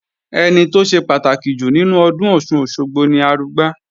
Ẹni tó ṣe pàtàkì jù nínú ọdún Ọ̀ṣun-Òṣogbo ni Arugbá